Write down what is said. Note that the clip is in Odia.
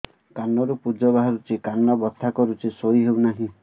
କାନ ରୁ ପୂଜ ବାହାରୁଛି କାନ ବଥା କରୁଛି ଶୋଇ ହେଉନାହିଁ